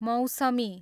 मौसमी